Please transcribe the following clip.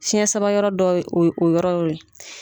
Fiɲɛ samayɔrɔ dɔ ye o y o yɔrɔ o ye.